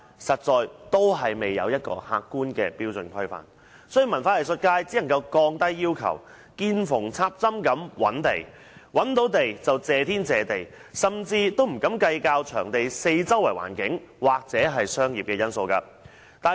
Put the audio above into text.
由於沒有客觀標準規範，文化藝術界只能夠降低要求，見縫插針式覓地，找到場地便謝天謝地，甚至不敢計較場地四周的環境或商業因素。